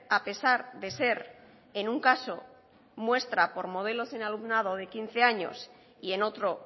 a pesar de ser en un caso muestra por modelos de alumnado de quince años y en otro